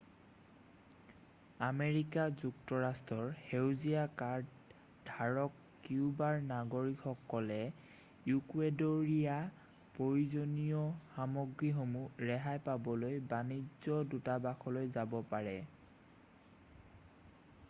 America যুক্তৰাষ্ট্ৰৰ সেউজীয়া card ধাৰক কিউবাৰ নাগৰিকসকলে ইকুৱেডেৰীয় প্ৰয়োজনীয় সামগ্ৰীসমূহ ৰেহাই পাবলৈ বাণিজ্য দূতাবাসলৈ যাব পাৰে